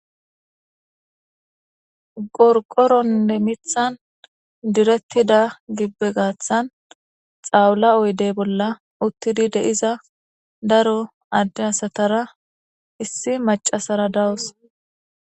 gorqoronne mithan direttida gibbe gaaththan xawula oydey bolla uttidi deiza daro adde hasatara issi macasara dawus